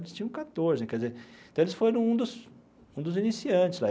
Eles tinham quatorze, quer dizer... Então, eles foram um dos um dos iniciantes lá.